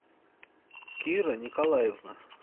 кира николаевна